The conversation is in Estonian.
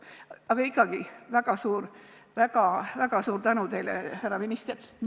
Aga ikkagi, väga suur tänu teile, härra minister!